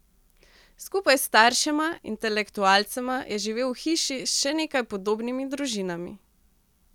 Skupaj s staršema, intelektualcema, je živel v hiši s še nekaj podobnimi družinami.